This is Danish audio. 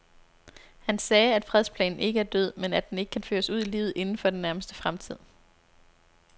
Han sagde, at fredsplanen ikke er død, men at den ikke kan føres ud i livet inden for den nærmeste fremtid.